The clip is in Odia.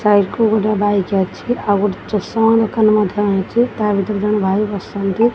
କୁ ଗୋଟେ ବାଇକ୍ ଅଛି ଚଷମା ଦୋକାନ ମଧ୍ୟ ଅଛି ତା ଭିତରେ ଜଣେ ଭାଇ ବସିଛନ୍ତି।